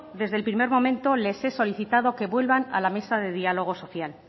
desde el primer momento les he solicitado que vuelvan a la mesa de diálogo social